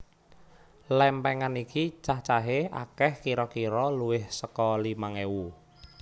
Lèmpèngan iki cacahé akèh kira kira luwih saka limang ewu